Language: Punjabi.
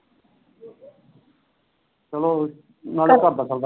ਚਲ ਨਾਲੇ ਘਰ ਦਾ ਚਲਦਾ ਰਹਿੰਦਾ।